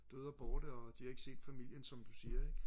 døde og borte og de har ikke set familien som du siger ikke